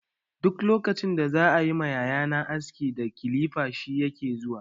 Duk lokacin da za yi ma yaya na aski da kilifar shi yake zuwa.